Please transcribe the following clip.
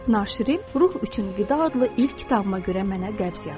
Naşirim "Ruh üçün qida" adlı ilk kitabıma görə mənə qəbz yazdı.